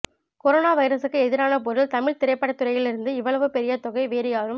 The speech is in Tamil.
கொரோனா வைரசுக்கு எதிரான போரில் தமிழ் திரைப்படத் துறையிலிருந்து இவ்வளவு பெரிய தொகை வேறு யாரும்